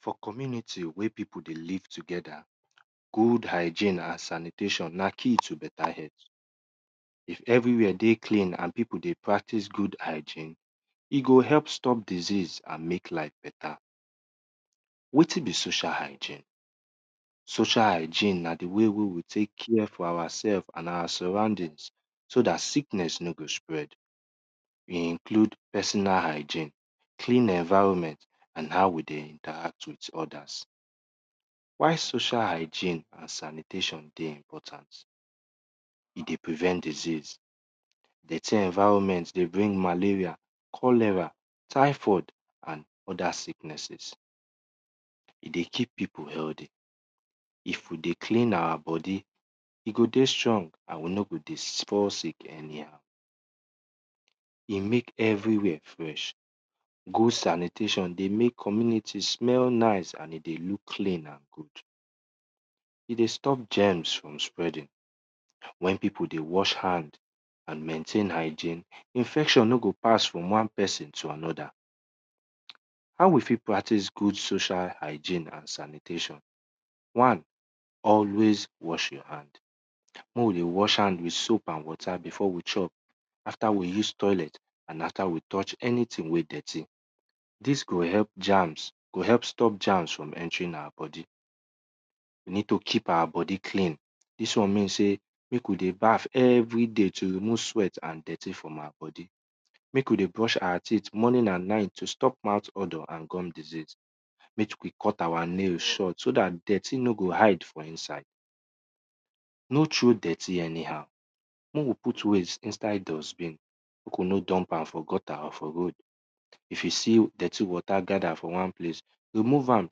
For community where pipu dey live together, good hygene and sanitation na key to beta health if everywhere dey clean and pipu dey practice good hygene, e go help stop disease and mek life beta. Wetin be socal hygine? Socal hygine na di way wey we tek care for ourseef and our surrounding so dat sickness no got spread. E include personal hygine, clean environment and how we dey interact with others. Whil social hygine and sanitation dey important, e dey prevent disease, dirty environment dey bing malaria, cholera and other sicknesses. E dey keep pipu healthy, if we dey clean our bodi, we go dey strong and healthy e go dey strong and we no go dey fall sick anyhow. E mek everywhere fresh, good sanitation dey mek community smell nice and e dey look clean and good, e dey stop germs from spreading, wen pipu dey wash hand and maintain hygine, infection no go pass from wan pesin to anoda. Hw we ft practice good social hygine and sanitation? One always wash yur hand, mek we dey wash hand with soap and water before we chop after we use toilet and after we touch anything wy dirty, dis go help stop germs and anything wey dirty. Dis go help germs go help stop germs from entering out bodi, we need to keep our bodi clean, dis won mean sey mek we de y bath every da y mek we dey brush our teeth morning and night to stop mouth odour and gum disease. Mek we cut our naise so dat dirty no go hide for inside. No throw dirty anyhow, mek we put waste inside dustbin, mek we no dump am for gutter or for road, if yu see dirty water gather for wan place remove am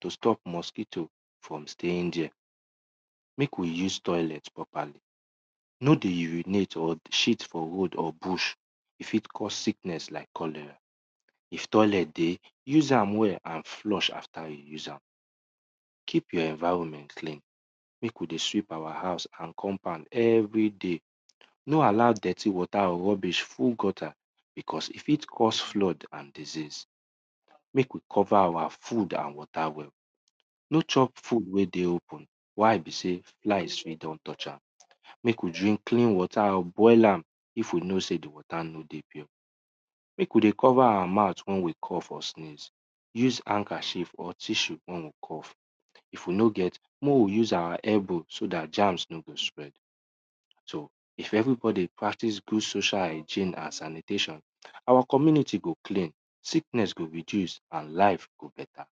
to stop mowuito from staying there, mek we use toilet properly, mek no dey shit for bush e fit cause sickness like cholera. If toilet dey, use am well and flush afta yu use am. Keep yhur environment clean, mek we dey sweep our house and compound everyday, no allow dirty water and rubbish full gutter bicous e fit cause flood and disease.mek we cover our food and water well, no chop food wey dey open why be sey flies fit don touch am, mek we drink clean water boil am if we know sey di water no dey pure. Mek we dey cover our mouth wen we cough or sneeze, use handkerchief or tissue wen we cough. If we no get, mek we use our elbow so dat germs no go spread. So if everybody practice social hygine and sanitation, our community go clean, sickeness go reduce and life go beta.